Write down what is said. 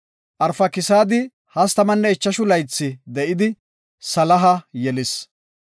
Arfakisaadi 35 laythi de7idi, Salaha yelis.